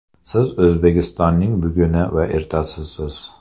Siz O‘zbekistonning buguni va ertasisiz.